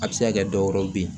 A bɛ se ka kɛ dɔwɛrɛw bɛ ye